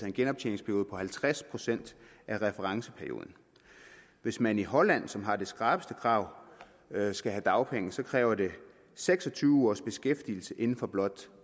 en genoptjeningsperiode på halvtreds procent af referenceperioden hvis man i holland som har de skrappeste krav skal have dagpenge kræver det seks og tyve ugers beskæftigelse inden for blot